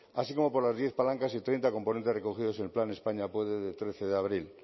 así como por las diez palancas y treinta de componentes recogidos en el plan españa puede del trece de abril